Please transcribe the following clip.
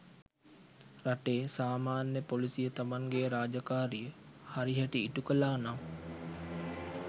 රටේ සාමාන්‍ය පොලිසිය තමන්ගේ රාජකාරිය හරි හැටි ඉටු කළා නම්